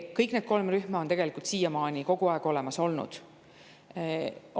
Kõik need kolm rühma on ka siiamaani kogu aeg olemas olnud.